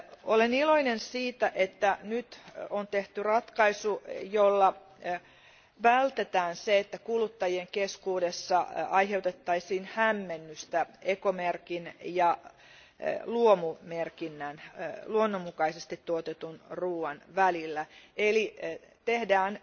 Olen iloinen siitä, että nyt on tehty ratkaisu, jolla vältetään se, että kuluttajien keskuudessa aiheutettaisiin hämmennystä ekomerkin ja luomumerkinnän, luonnonmukaisesti tuotetun ruoan, välillä eli että tehdään